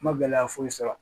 N ma gɛlɛya foyi sɔrɔ